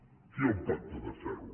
aquí hi ha un pacte de ferro